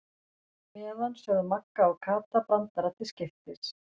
meðan sögðu Magga og Kata brandara til skiptis.